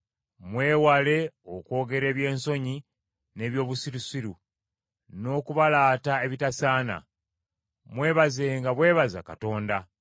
Mwewale okwogera eby’ensonyi, n’eby’obusirusiru, n’okubalaata ebitasaana. Mwebazenga bwebaza Katonda.